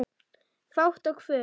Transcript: Fát og fum